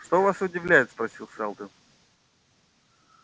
что вас удивляет спросил сэлдон